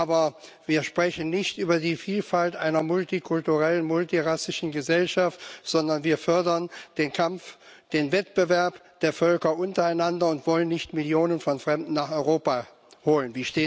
Aber wir sprechen nicht über die Vielfalt einer multikulturellen, multirassischen Gesellschaft, sondern wir fördern den Kampf, den Wettbewerb der Völker untereinander und wollen nicht Millionen von Fremden nach Europa holen.